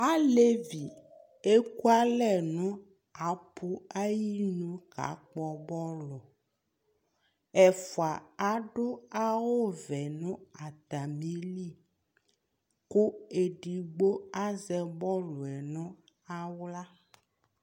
Alevi ekualɛ no apu ayili ka kpɔ bɔlu, Ɛfua ado awuvɛ no atame li, ko edigbo azɛ bɔlu no ahla